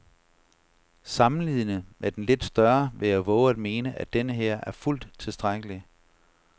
Sammenlignet med den lidt større vil jeg vove at mene, at denneher er fuldt tilstrækkelig.